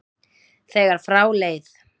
þegar frá leið.